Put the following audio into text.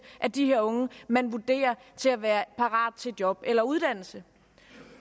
af de her unge man vurderer til at være parate til job eller uddannelse